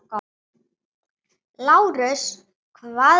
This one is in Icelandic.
LÁRUS: Hvað sem er.